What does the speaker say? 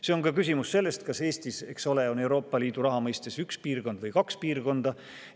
See on ka küsimus sellest, kas Eestis on Euroopa Liidu raha mõistes üks piirkond või kaks piirkonda.